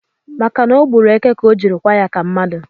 Maka na ọ gburu eke ka o jiri kwa ya ka mmadụ